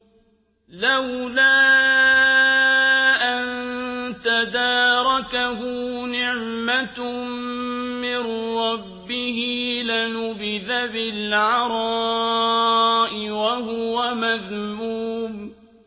لَّوْلَا أَن تَدَارَكَهُ نِعْمَةٌ مِّن رَّبِّهِ لَنُبِذَ بِالْعَرَاءِ وَهُوَ مَذْمُومٌ